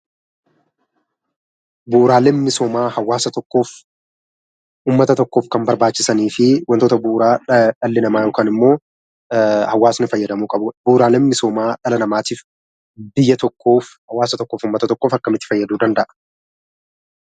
Bu'uuraaleen misoomaa hawaasa tokkoof kan kan barbaachisanii fi wantoota bu'uuraa dhalli namaa yookiin immoo uummanni fayyadamuu qabanidha. Bu'uuraaleen misoomaa hawaasa tokkoof yookiin uummata tokkoof akkamitti fayyaduu danda'a?